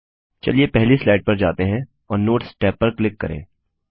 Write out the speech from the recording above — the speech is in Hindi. चलिए पहली स्लाइड पर जाते हैं और नोट्स टैब पर क्लिक करें